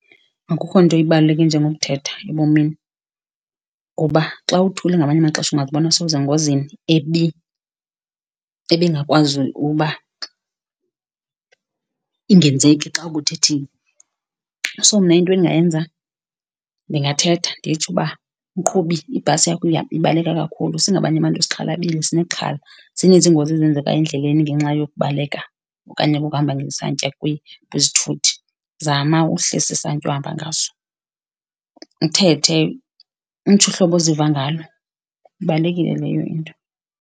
Akukho nto ebaluleke nje ngokuthetha ebomini kuba xa uthule ngamanye amaxesha ungazibona sewusengozini ebingakwazi uba ingenzeki xa ubuthethile. So mna into endingayenza, ndingathetha nditsho uba, mqhubi, ibhasi yakho ibaleka kakhulu. Singabanye abantu sixhalabile sinexhala, zininzi iingozi ezenzeka endleleni ngenxa yokubaleka okanye kokuhamba ngesantya kwizithuthi. Zama uhlisa isantya ohamba ngaso. Uthethe, utsho uhlobo oziva ngalo. Ibalulekile leyo into.